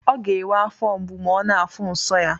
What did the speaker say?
Ọ ga enwe afo mgbu ma ọ na afuụ nso ya.